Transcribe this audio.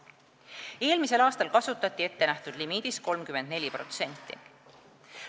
Eelmisel aastal kasutati ettenähtud limiidist 34%.